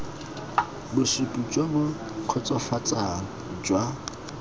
bosupi jo bo kgotsofatsang jwa